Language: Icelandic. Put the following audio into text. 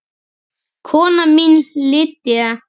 Kona mín Lydia